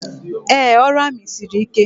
Ee, ọrụ amị siri ike.